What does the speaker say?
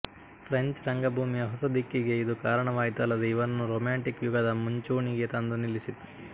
French ರಂಗಭೂಮಿಯ ಹೊಸ ದಿಕ್ಕಿಗೆ ಇದು ಕಾರಣವಾಯಿತಲ್ಲದೆ ಇವನನ್ನು ರೊಮ್ಯಾಂಟಿಕ್ ಯುಗದ ಮುಂಚೂಣಿಗೆ ತಂದು ನಿಲ್ಲಿಸಿತು